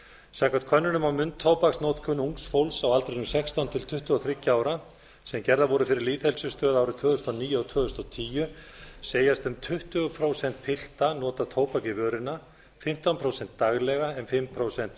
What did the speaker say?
samkvæmt könnunum á munntóbaksnotkun ungs fólks á aldrinum sextán til tuttugu og þriggja ára sem gerðar voru fyrir lýðheilsustöð árið tvö þúsund og níu og tvö þúsund og tíu segjast um tuttugu prósent pilta nota tóbak í vörina fimmtán prósent daglega en fimm prósent